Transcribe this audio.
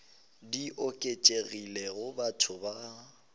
di oketšegilego go batho ba